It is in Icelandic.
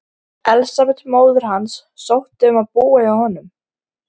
Elsabet móðir hans sótti um að búa hjá honum.